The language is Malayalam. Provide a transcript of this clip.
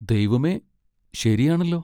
ദൈവമേ, ശരിയാണല്ലോ!